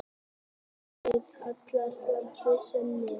Fiðluleikarar allra landa sameinist.